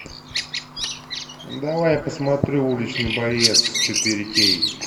давай я посмотрю уличный боец четыре кей